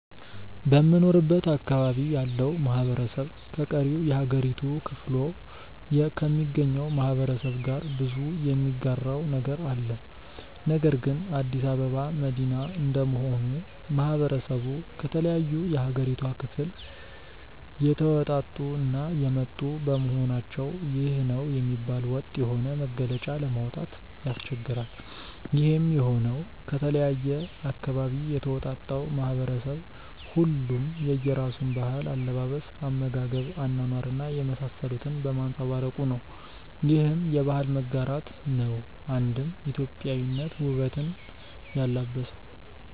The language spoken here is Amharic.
በምኖርበት አካባቢ ያለው ማህበረሰብ ከቀሪው የሀገሪቱ ክፍሎ ከሚገኘው ማህበረሰብ ጋር ብዙ የሚጋራው ነገር አለ። ነገር ግን አዲስ አበባ መዲና እንደመሆኑ ማህበረሰቡ ከተለያዩ የሀገሪቷ ክፍል የተወጣጡ እና የመጡ በመሆናቸው ይህ ነው የሚባል ወጥ የሆነ መገለጫ ለማውጣት ያስቸግራል። ይሄም የሆነው ከተለያየ አካባቢ የተውጣጣው ማህበረሰብ ሁሉም የየራሱን ባህል፣ አለባበስ፣ አመጋገብ፣ አኗኗር እና የመሳሰሉትን በማንፀባረቁ ነው። ይህም የባህል መጋራት ነው አንድም ኢትዮጵያዊነትን ውበት ያላበሰው።